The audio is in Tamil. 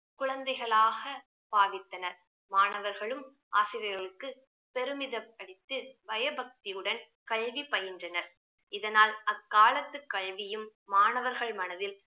குழந்தைகளாக பாவித்தனர் மாணவர்களும் ஆசிரியர்களுக்கு பெருமிதப்படுத்து பயபக்தியுடன் கல்வி பயின்றனர் இதனால் அக்காலத்துக் கல்வியும் மாணவர்கள் மனதில்